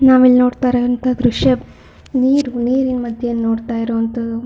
ನಾವಿಲ್ಲಿ ನೋಡ್ತಾ ಇರೋ ಅಂತ ದೃಶ್ಯ ನೀರು ನೀರಿನ ಮಧ್ಯೆ ನೋಡ್ತಾ ಇರೋ ಅಂತದು.